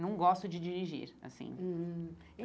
Não gosto de dirigir, assim hum.